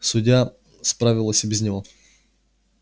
судья справилась и без него